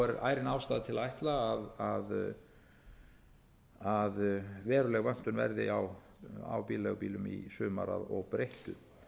er ærin ástæða til að ætla að veruleg vöntun verði á bílaleigubílum í sumar að óbreyttu